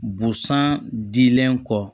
Busan dilen kɔ